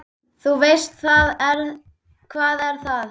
Þú veist, hvað er það?